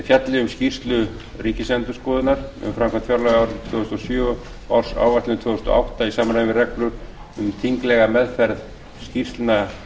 fjalli um skýrslu ríkisendurskoðunar um framkvæmd fjárlaga árið tvö þúsund og sjö og ársáætlun tvö þúsund og átta í samræmi við reglur um þinglega meðferð skýrslna